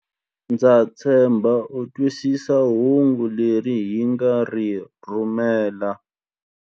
Ndza tshemba u twisisa hungu leri hi nga ri rhumela.